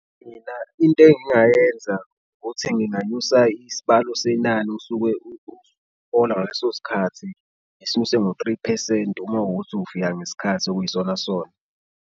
Mina into engingayenza ukuthi nginganyusa isibalo senani osuke hola ngaleso sikhathi, ngisuse ngo-three phesenti uma kuwukuthi ufika ngesikhathi okuyisona sona.